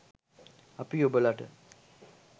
අපි ඔබලට